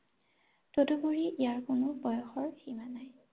তদুপৰি ইয়াৰ কোনো বয়সৰ সীমা নাই ৷